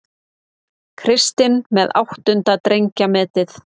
Kristinn með áttunda drengjametið